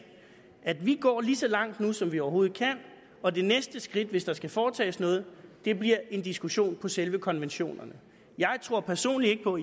at vi går lige så langt nu som vi overhovedet kan og det næste skridt hvis der skal foretages noget bliver en diskussion om selve konventionerne jeg tror personligt ikke på